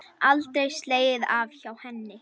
Aldrei slegið af hjá henni.